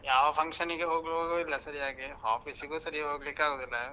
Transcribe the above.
ಯಾವ function ಗೆ ಹೋಗುವಾಗುಸ ಇಲ್ಲ ಸರ್ಯಾಗಿ, office ಗೂ ಸರ್ಯಾಗ್ ಹೋಗ್ಲಿಕ್ಕಾಗುದಿಲ್ಲ ಎಲ್ಲಾ.